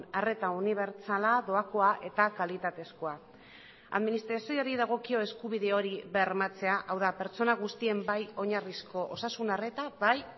arreta unibertsala doakoa eta kalitatezkoa administrazioari dagokio eskubide hori bermatzea hau da pertsona guztien bai oinarrizko osasun arreta bai